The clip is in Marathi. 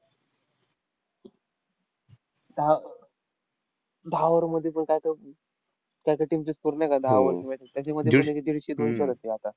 दहा अह दहा over मध्ये कोण काय कर अह त्यांचा तीनशे score नाय करत दहा over मध्ये. त्यांच्यामध्ये दीडशे-दोंश्यात असते आता.